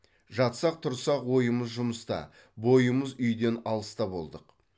жатсақ тұрсақ ойымыз жұмыста бойымыз үйден алыста болдық